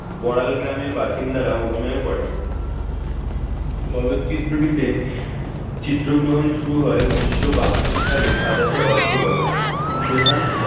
বড়াল গ্রামের বাসিন্দারা অভিনয় করেন। চলচ্চিত্রটিতে চিত্রগ্রহণ শুরু হয় উনিশশো বায়ান্নো সালের সাতাশে October প্রধান,